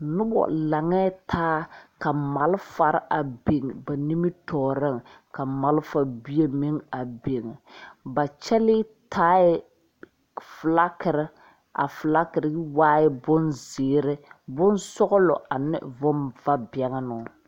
Noba laŋɛɛ taa ka malfare a biŋ ba nimitɔɔreŋ ka malfa bie meŋ a biŋ ba kyɛlee taaɛ filagiri a filagiri waaɛ bonzeere bonsɔglɔ ane bonvabɛnnoo.